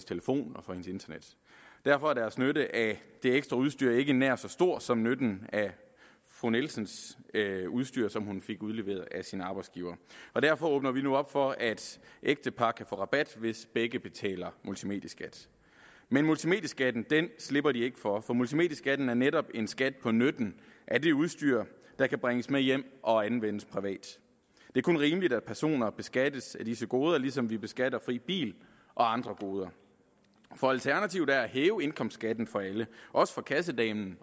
telefon og hendes internet derfor er deres nytte af det ekstra udstyr ikke nær så stor som nytten af fru nielsens udstyr som hun fik udleveret af sin arbejdsgiver og derfor åbner vi nu op for at ægtepar kan få rabat hvis begge betaler multimedieskat men multimedieskatten slipper de ikke for for multimedieskatten er netop en skat på nytten af det udstyr der kan bringes med hjem og anvendes privat det er kun rimeligt at personer beskattes af disse goder ligesom vi beskatter fri bil og andre goder for alternativet er at hæve indkomstskatten for alle også for kassedamen